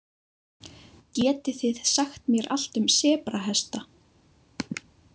„Getið þið sagt mér allt um sebrahesta?“